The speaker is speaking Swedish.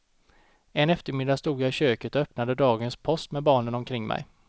En eftermiddag stod jag i köket och öppnade dagens post med barnen omkring mig.